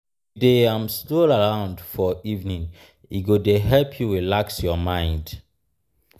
if you dey um stroll around for evening e go dey help you relax um your mind. um